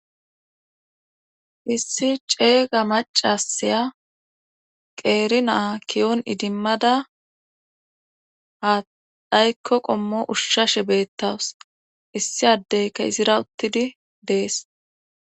Issi ceega macasaya qeeri naa kiyoon idimmada ha dhaykko qommo ushshashe beettawus issi addeyka izira uttidi dees.